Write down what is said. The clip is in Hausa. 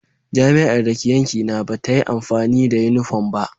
Jami'ar da ke yankina ba ta yi amfani da yunifom ba.